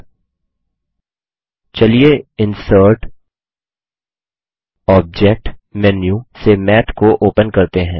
अब चलिए insert object menu से मैथ को ओपन करते हैं